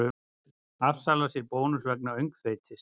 Afsalar sér bónus vegna öngþveitis